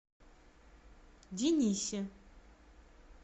денисе